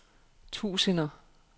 tusinder